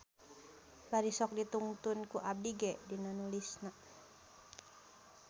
Bari sok ditungtun ku abdi ge dina nulisna.